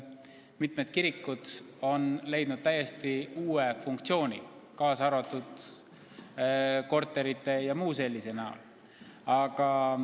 Suur hulk kirikuid on leidnud täiesti uue funktsiooni, isegi korterite jms näol.